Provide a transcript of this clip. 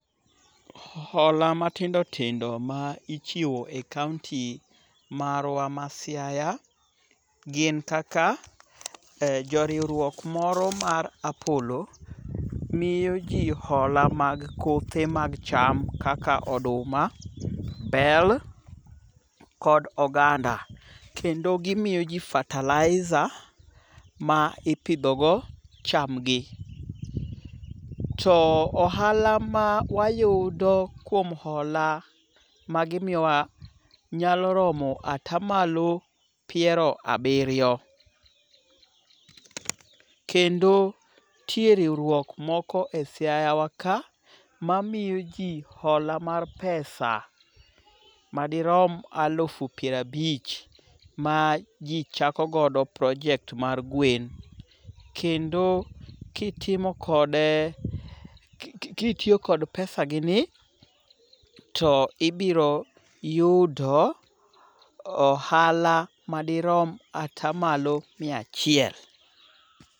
Hola matindotindo ma ichiwo e kaonti marwa ma Siaya gin kaka: Joriwruok moro mar Apollo miyo ji hola mag kothe mag cham kaka oduma, bel kod oganda. Kendo gimiyo ji fertilizer ma ipidhogo chamgi. To ohala ma wayudo kuom hola magimiyowa nyalo romo atamalo piero abiriyo. kendo nitie riwruok moko e Siaya wa ka mamiyo ji hola mar pesa madirom alufu pier abich ma ji chakogodo project mar gwen. Kendo kitiyo kod pesagini to ibiro yudo ohala madirom atamalo mia achiel